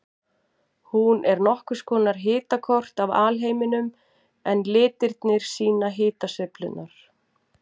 Hún er nokkurs konar hitakort af alheiminum en litirnir sýna hitasveiflurnar.